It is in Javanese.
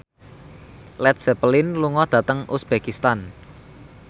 Led Zeppelin lunga dhateng uzbekistan